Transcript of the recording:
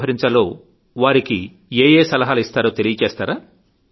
వ్యవహరించాలో వారికి ఏ ఏ సలహాలు ఇస్తారో తెలియచేస్తారా